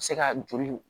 Se ka joli